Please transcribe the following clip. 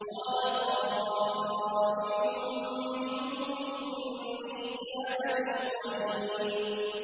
قَالَ قَائِلٌ مِّنْهُمْ إِنِّي كَانَ لِي قَرِينٌ